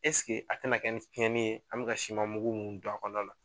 Ɛseke a tɛna kɛ nin cɛnni ye an bɛ ka siman mugu min don a kɔnɔna na.